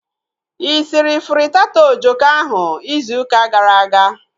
Ị sịrị frittata ojoko ahu izu ụka gara aga?